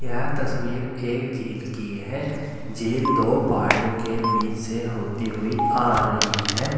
यह तस्वीर एक झील की है झील दो पहाड़ियों के बीच से होती हुई आ रही है।